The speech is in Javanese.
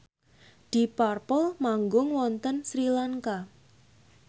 deep purple manggung wonten Sri Lanka